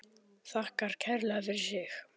Þakkar kærlega fyrir sig.